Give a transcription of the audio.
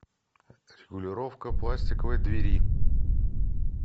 регулировка пластиковой двери